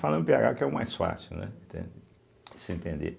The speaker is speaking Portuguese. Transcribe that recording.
Falando pêagá, porque é o mais fácil, né, entende, de se entender